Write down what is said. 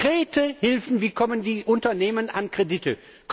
Konkrete Hilfen Wie kommen die Unternehmen an Kredite?